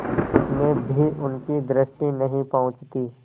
उसमें भी उनकी दृष्टि नहीं पहुँचती